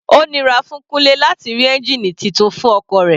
Ó nira fún Kunle láti rí ẹ́ngìnì titun fún ọkọ̀ rẹ̀.